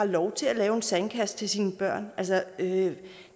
lov til at lave en sandkasse til sine børn det